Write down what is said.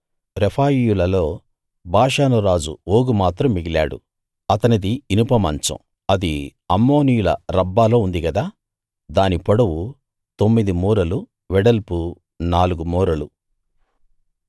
రెఫాయీయులలో బాషాను రాజు ఓగు మాత్రం మిగిలాడు అతనిది ఇనుప మంచం అది అమ్మోనీయుల రబ్బాలో ఉంది గదా దాని పొడవు తొమ్మిది మూరలు వెడల్పు నాలుగు మూరలు